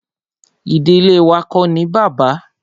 Ìdílé wá ko ní bàbá.